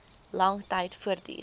lang tyd voortduur